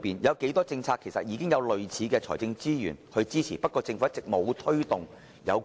有多少政策其實已獲財政撥款，只是政府一直沒有推動而已？